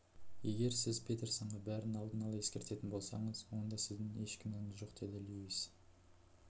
егер сіз петерсонға бәрін алдын ала ескерткен болсаңыз онда сіздің еш кінәңіз жоқ деді льюис